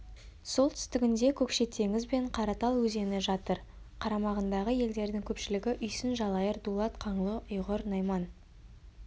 солтүстігінде көкше теңіз бен қаратал өзені жатыр қарамағындағы елдердің көпшілігі үйсін жалайыр дулат қаңлы ұйғыр найман